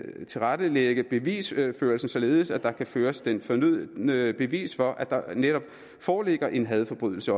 tilrettelægge bevisførelsen således at der kan føres det fornødne bevis for at der netop foreligger en hadforbrydelse